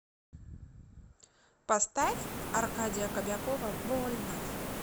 поставь аркадия кобякова больно